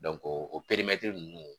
Dɔn o ninnu